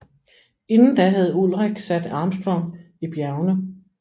Inden da havde Ullrich sat Armstrong i bjergene